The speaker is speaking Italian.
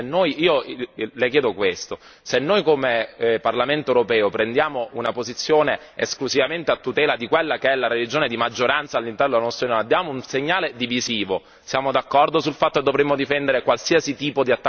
Le chiedo questo se noi come Parlamento europeo prendiamo una posizione esclusivamente a tutela di quella che è la religione di maggioranza all'interno della nostra Unione diamo un segnale divisivo. Siamo d'accordo sul fatto che dovremmo difendere qualsiasi tipo di attacco religioso?